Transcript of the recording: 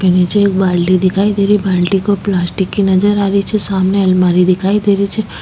निचे एक बाल्टी दिखाई दे रही बाल्टी पलास्टिक की नजर आ रही छे सामने अलमारी दिखाई दे रही छे।